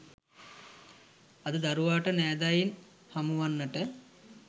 අද දරුවාට නෑදෑයින් හමුවන්නට